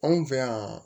Anw fɛ yan